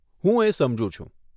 હું એ સમજુ છું.